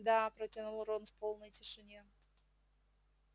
да протянул рон в полной тишине